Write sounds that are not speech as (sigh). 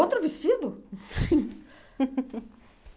Outro vestido? (laughs)